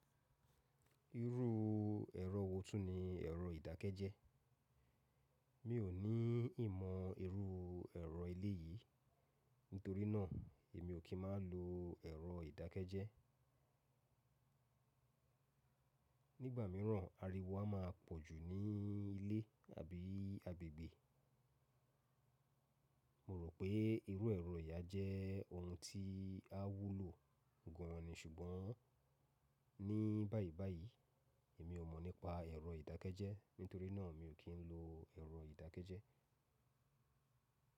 Irú ẹ̀rọ wò túni ẹ̀rọ ìdákẹ́jẹ́? Mi ò ní ìmọ̀ irú ẹ̀rọ eléyìí, nítorí náà, èmi ò kí ń má lo ẹ̀rọ ìdákẹ́jẹ́. Nígbà mìíràn, ariwo a má pọ̀jù ní ilé àbí agbègbè. Mo rò pé irú ẹ̀rọ yìí jẹ́ ohun tí a wúlò gán-an ni. Ṣùgbọ́n ní báyìí báyìí, èmi ò mọ̀ nípa ẹ̀rọ ìdákẹ́jẹ́, nítorí náà mi ò kí ń lo ẹ̀rọ ìdákẹ́jẹ́.